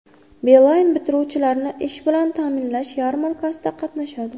Beeline bitiruvchilarni ish bilan ta’minlash yarmarkasida qatnashadi.